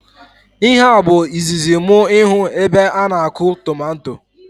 Ihe a bụ izizi mụ ịhụ ebe ana akọ tomato